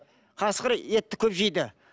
қасқыр етті көп жейді